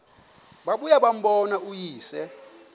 babuye bambone uyise